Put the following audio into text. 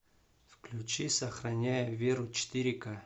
включи сохраняя веру четыре ка